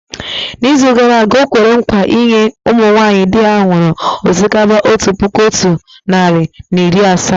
N’izu gara aga, o kwere nkwa inye ụmụ nwaanyị di ha nwụrụ osikapa otu puku otu narị na iri asaa.